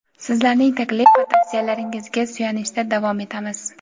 sizlarning taklif va tavsiyalaringizga suyanishda davom etamiz.